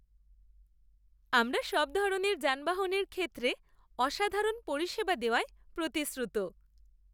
আমরা সব ধরনের যানবাহনের ক্ষেত্রে অসাধারণ পরিষেবা দেওয়ায় প্রতিশ্রুত।